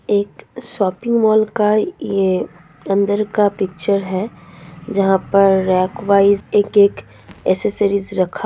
एक shopping mall का ये अंदर का पिक्चर है जहां पर रैंक वाइज एक-एक एसेसरीज रखा --